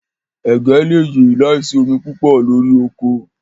Ẹ̀gẹ̀ lè yẹ làísì omi púpọ̀ lórí oko.